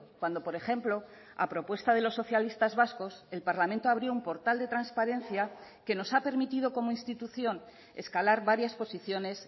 cuando por ejemplo a propuesta de los socialistas vascos el parlamento abrió un portal de transparencia que nos ha permitido como institución escalar varias posiciones